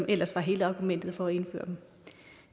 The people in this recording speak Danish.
ellers var hele argumentet for at indføre dem